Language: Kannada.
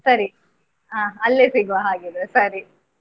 ಸರಿ ಹಾ ಅಲ್ಲೇ ಸಿಗ್ವಾ ಹಾಗಿದ್ರೆ ಸರಿ.